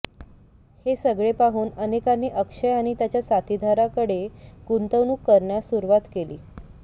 हे सगळे पाहून अनेकांनी अक्षय आणि त्याच्या साथिदाराकडे गुंतवणूक करण्यास सुरुवात केली